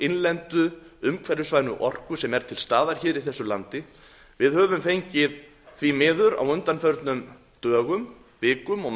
innlendu umhverfisvænu orku sem er til staðar í þessu landi við höfum fengið því miður á undanförnum dögum vikum og